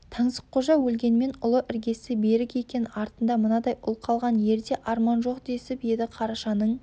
таңсыққожа өлгенмен ұлы іргесі берік екен артында мынадай ұл қалған ерде арман жоқ десіп еді қарашаның